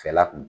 Fɛla kun